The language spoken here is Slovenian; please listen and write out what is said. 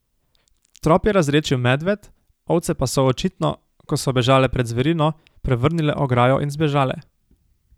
Trop je razredčil medved, ovce pa so očitno, ko so bežale pred zverino, prevrnile ograjo in zbežale.